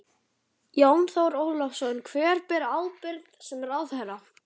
Jón Þór Ólafsson: Hver ber ábyrgð sem ráðherra?